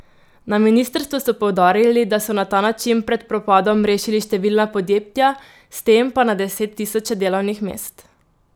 Na ministrstvu so poudarili, da so na ta način pred propadom rešili številna podjetja, s tem pa na deset tisoče delovnih mest.